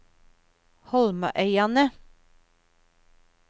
Holmøyane